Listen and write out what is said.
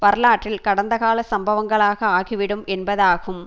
வரலாற்றில் கடந்த கால சம்பவங்களாக ஆகிவிடும் என்பதாகும்